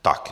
Tak.